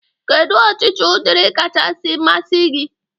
Kedụ ọchịchị ụdịrị kachasị masị gi?